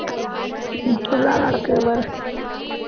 இப்படியெல்லாம் நடக்குது பாரு